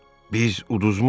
Biz uduzmuşuq.